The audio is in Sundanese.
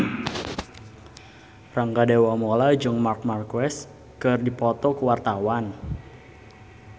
Rangga Dewamoela jeung Marc Marquez keur dipoto ku wartawan